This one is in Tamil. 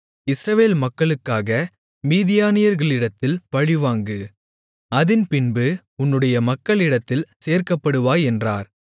இஸ்ரவேல் மக்களுக்காக மீதியானியர்களிடத்தில் பழிவாங்கு அதின் பின்பு உன்னுடைய மக்களிடத்தில் சேர்க்கப்படுவாய் என்றார்